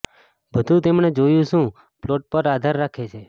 બધું તેમણે જોયું શું પ્લોટ પર આધાર રાખે છે